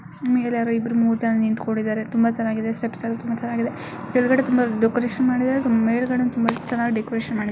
ಮೇಲೆ ಯಾರೋ ಇಬ್ಬರು ಮೂರೂ ಜನಾ ನಿಂತಿಕೋಡಿದ್ದಾರೆ. ತುಂಬಾ ಚನ್ನಾಗಿದೆ ಸ್ಟೆಪ್ಸ್ ಅನ್ನು ತುಂಬಾ ಚನ್ನಾಗಿದೆ. ಕೀಳ್ಗಳೆ ತುಂಬಾ ಡೆಕೋರೇಷನ್ ಮಾಡ್ತಿದ್ದಾರೆ. ಮೇಲ್ಗಳೇ ತುಂಬಾ ಚನ್ನಾಗಿ ಡೆಕೋರೇಷನ್ ಮಾಡಿ --